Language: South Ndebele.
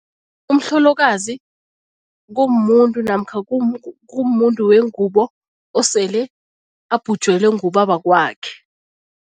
Umhlolokazi kumuntu namkha kumuntu wengubo osele abhujelwe ngubabakwakhe.